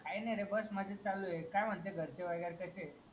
काय नायरे बस मजेत चालू है काय म्हणतायत घरचे वगैरे कशे येत